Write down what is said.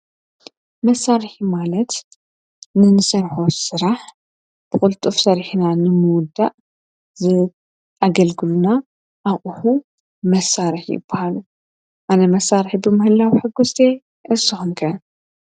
መሣርሒ ማለት ንንሠርሖ ሠራሕ ብዂልጡፍ ሠሪሕና ንምዉዳእ ዝኣገልግሉና ኣኡሑ መሣርሒ በሃል ኣነ መሣርሒ ብምህላዊ ሕጐስተ ኣስምከ።